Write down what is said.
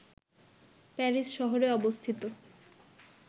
Paris শহরে অবস্থিত